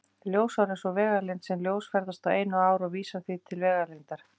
Ljósár er sú vegalengd sem ljós ferðast á einu ári og vísar því til vegalengdar.